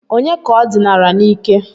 Ònye ka o dinara n'ike?